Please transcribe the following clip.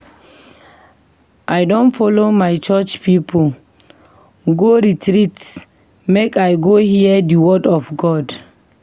I don folo my church pipo go retreat make I go hear di word of God.